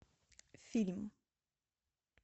фильм